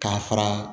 K'a fara